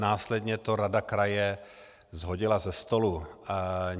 Následně to rada kraje shodila ze stolu.